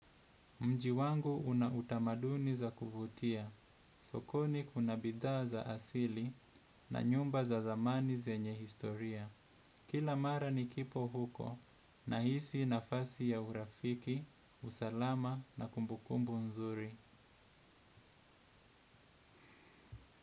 Mji wangu una utamaduni za kuvutia, sokoni kuna bidhaa za asili na nyumba za zamani zenye historia. Kila mara ni kipo huko na hisi nafasi ya urafiki, usalama na kumbu kumbu nzuri.